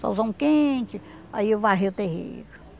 Solzão quente, aí eu varria o terreiro.